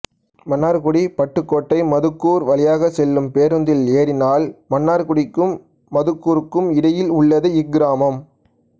மன்னார்குடிபட்டுக்கோட்டை மதுக்கூர் வழியாக செல்லும் பேருந்தில் ஏறினால் மன்னார்குடிக்கும் மதுக்கூருகும் இடையில் உள்ளது இக்கிராமம்